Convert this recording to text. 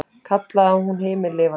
kallaði hún himinlifandi.